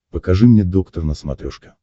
покажи мне доктор на смотрешке